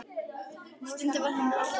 Stundum varð henni allt að heppni.